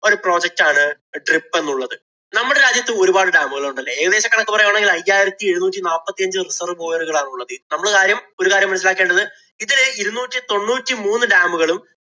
ഒരു project ആണ് DRIP എന്നുള്ളത്. നമ്മടെ രാജ്യത്ത് ഒരുപാട് dam ഉകളുണ്ടല്ലേ? ഏകദേശ കണക്ക് പറയുകയാണെങ്കില്‍ അയ്യായിരത്തി എഴുനൂറ്റി നാപ്പത്തിയഞ്ചു ഉള്ളത്. നമ്മളാരും ഒരു കാര്യം മനസ്സിലാക്കേണ്ടത് ഇതില് ഇരുന്നൂറ്റി തൊണ്ണൂറ്റി മൂന്ന് dam ഉകളും